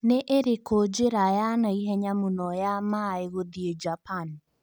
nĩ ĩrĩkũ njĩra ya naihenya mũno ya maaĩ gũthĩi japan